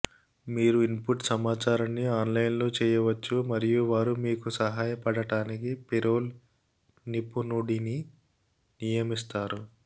మీరు ఇన్పుట్ సమాచారాన్ని ఆన్లైన్లో చెయ్యవచ్చు మరియు వారు మీకు సహాయపడటానికి పేరోల్ నిపుణుడిని నియమిస్తారు